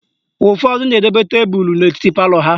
Ụfọdụ na-edobe tebulu n'etiti palọ ha.